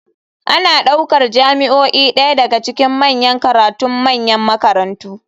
Ana ɗaukar jami'o'i ɗaya daga cikin manyan karatun manyan makarantu.